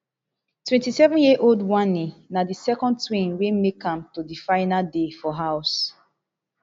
twenty-sevenyearold wanni na di second twin wey make am to di final day for house